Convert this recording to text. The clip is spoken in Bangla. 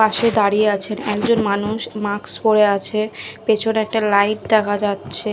পাশে দাঁড়িয়ে আছেন একজন মানুষ মাস্ক পরে আছে পেছনে একটা লাইট দেখা যাচ্ছে।